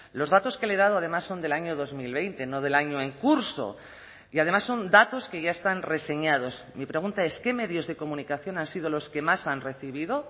los datos que le he dado además son del año dos mil veinte no del año en curso y además son datos que ya están reseñados mi pregunta es qué medios de comunicación han sido los que más han recibido